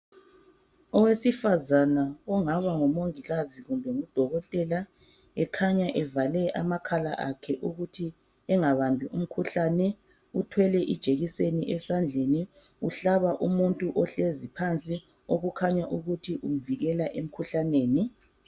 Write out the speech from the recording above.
Owesifazana ongaba ngumongikazi kumbe udokotela ekhanya evale amakhala akhe ukuthi engabambi umkhuhlane. Uthwele ijekiseni esandleni uhlaba umuntu ohlezi ukuthi umvikela emkhuhlaneni.